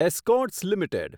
Escorts limited